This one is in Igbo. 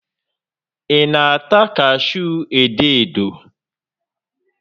Ị na-ata kashuu edo edo?